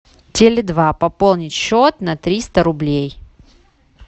теле два пополнить счет на триста рублей